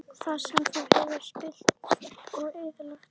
Og það sem þú hefur spillt og eyðilagt?